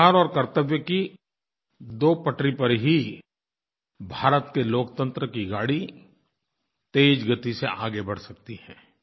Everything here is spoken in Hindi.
अधिकार और कर्तव्य की दो पटरी पर ही भारत के लोकतंत्र की गाड़ी तेज़ गति से आगे बढ़ सकती है